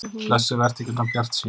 Blessuð vertu ekki svona bjartsýn.